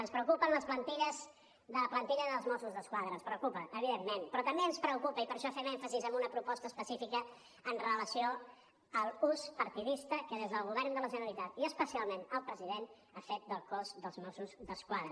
ens preocupa la plantilla dels mossos d’esquadra ens preocupa evidentment però també ens preocupa i per això fem èmfasi en una proposta específica amb relació a l’ús partidista que des del govern de la generalitat i especialment el president ha fet del cos dels mossos d’esquadra